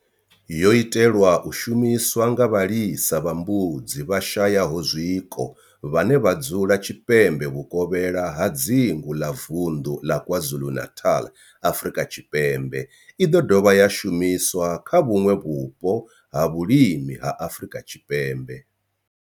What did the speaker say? Yo itelwa u shumiswa nga vhalisa vha mbudzi vhashayaho zwiko vhane vha dzula tshipembe vhukovhela ha dzingu ḽa vunḓu ḽa KwaZulu-Natal, Afrika Tshipembe i ḓo dovha ya shumiswa kha vhuṋwe vhupo ha vhulimi ha Afrika Tshipembe.